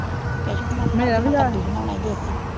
ਕੇਛੂ ਆਪਾ ਕੱਦੂ ਬਨਾਣਾ ਦੇਸੀ,